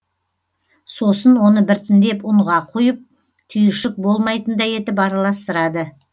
сосын оны біртіндеп ұнға құйып түйіршік болмайтындай етіп аралыстырады